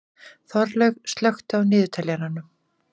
Þorlaug, slökktu á niðurteljaranum.